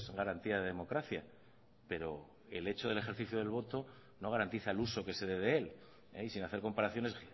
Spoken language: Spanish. garantía de democracia pero el hecho del ejercicio del voto no garantiza el uso que se dé de él y sin hacer comparaciones